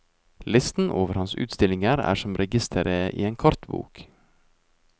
Listen over hans utstillinger er som registeret i en kartbok.